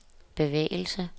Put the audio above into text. bevægelse